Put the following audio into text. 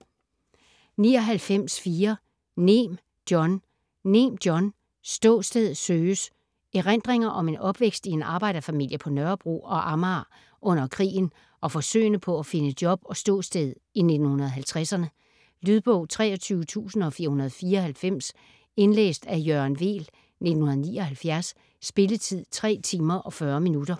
99.4 Nehm, John Nehm, John: Ståsted søges Erindringer om en opvækst i en arbejderfamilie på Nørrebro og Amager under krigen og forsøgene på af finde job og ståsted i 1950'erne. Lydbog 23494 Indlæst af Jørgen Weel, 1979. Spilletid: 3 timer, 40 minutter.